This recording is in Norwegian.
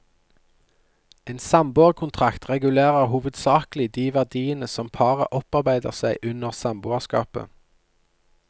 En samboerkontrakt regulerer hovedsakelig de verdiene som paret opparbeider seg under samboerskapet.